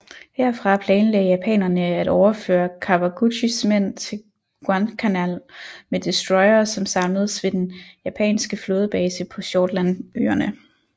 Herfra planlagde japanerne at overføre Kawaguchis mænd til Guadalcanal med destroyere som samledes ved den japanske flådebase på Shortlandøerne